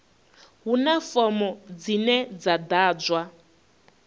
huna fomo dzine dza ḓadzwa